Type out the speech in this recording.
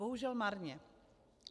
Bohužel marně.